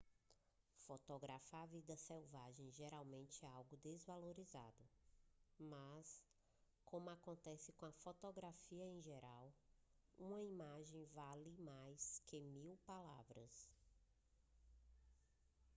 fotografar vida selvagem geralmente é algo desvalorizado mas como acontece com a fotografia em geral uma imagem vale mais que mil palavras